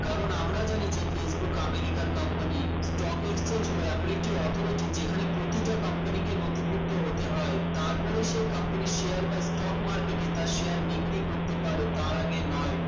কারণ আমরা জানি যে facebook আমেরিকার company stock exchange হল এমন একটি authority যেখানে প্রতিটা company কে নথিভুক্ত হতে হয় তারপরে সে company এর share বা stock market এ তার share বিক্রি করতে পারে তার আগে নয়